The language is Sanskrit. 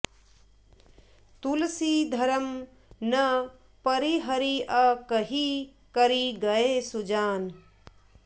तुलसी धरम न परिहरिअ कहि करि गए सुजान